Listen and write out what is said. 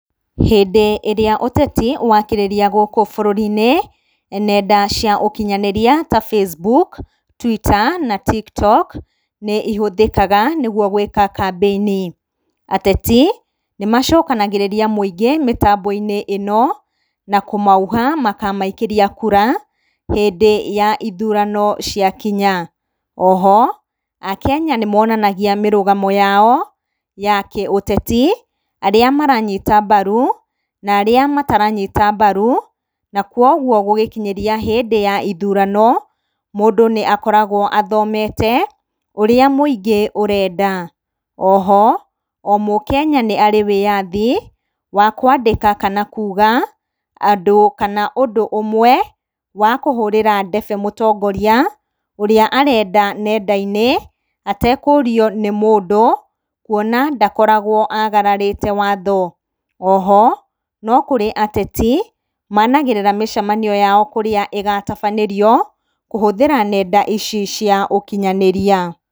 Hĩndĩ ĩrĩa ũteti wakĩrĩria gũkũ bũrũri-inĩ, nenda cia ũkinyanĩria ta facebook, twitter na tiktok nĩ ihũthĩkaga nĩgwo gwĩka kambeini. Ateti nĩ macokanagĩrĩria mũingĩ mĩtambo-inĩ ĩno, na kũmauha makamaikĩria kura hĩndĩ ya ithurano ciakinya. Oho akenya nĩmonanagia mĩrũgamo yao ya kĩũteti, arĩa maranyita mbaru na arĩa mataranyita mbaru, na kwogwo gũgĩkinyĩria hĩndĩ ya ithurano mũndũ nĩ akoragwo athomete ũrĩa mũingĩ ũrenda. Oho o mũkenya nĩ arĩ wĩyathi wa kwandĩka kana kuga andũ kana ũndũ ũmwe wa kũhũrĩra ndebe mũtongoria ũrĩa arenda nenda-inĩ atekũrio nĩ mũndũ kwona ndakoragwo agararĩte watho. Oho no kũrĩ ateti managĩrĩra mĩcemanio yao kũrĩa ĩgatabanĩrio kũhũthĩra nenda ici cia ũkinyanĩria.